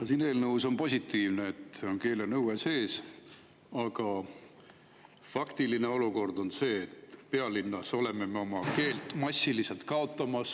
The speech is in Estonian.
No siin eelnõus on positiivne, et keelenõue on sees, aga faktiline olukord on see, et pealinnas oleme me oma keelt massiliselt kaotamas.